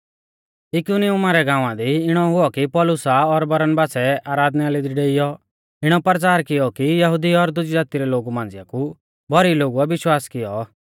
इकुनियुमा रै गाँवा दी इणौ हुऔ कि पौलुसा और बरनबासै आराधनालय दी डेइयौ इणौ परचार कियौ कि यहुदी और दुजी ज़ाती रै लोगु मांझ़िया कु भौरी लोगुऐ विश्वास कियौ